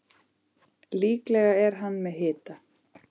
Líklega er hann með hita.